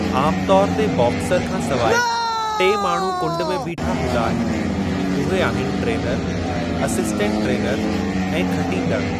आमु तौर ते बॉक्सर खां सवाइ टे माण्हू कुंड में बीठा हूंदा आहिनि, उहे आहिनि ट्रेनरु, असिस्टंट ट्रेनरु ऐं खटींदड़ु।